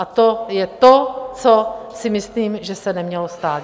A to je to, co si myslím, že se nemělo stát.